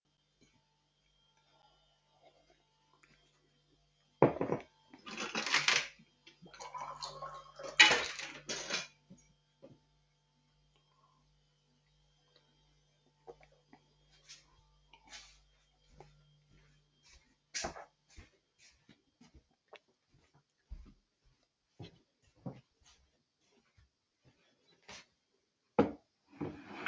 мемлекет басшысы оқу орнының білім беру және ғылым зерттеу жұмыстарымен танысты сондай ақ оқытушылармен студенттермен әңгімелесті